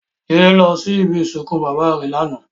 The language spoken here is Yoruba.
Jide lò si ibi isinkún baba rè làná